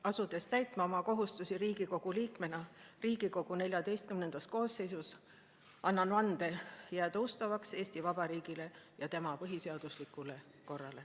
Asudes täitma oma kohustusi Riigikogu liikmena Riigikogu XIV koosseisus, annan vande jääda ustavaks Eesti Vabariigile ja tema põhiseaduslikule korrale.